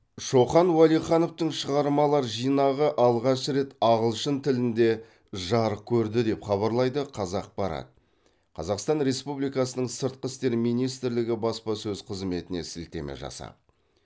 шоқан уәлихановтың шығармалар жинағы алғаш рет ағылшын тілінде жарық көрді деп хабарлайды қазақпарат қазақстан республикасының сыртқы істер министрлігі баспасөз қызметіне сілтеме жасап